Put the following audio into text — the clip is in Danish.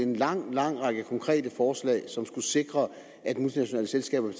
en lang lang række konkrete forslag som skulle sikre at multinationale selskaber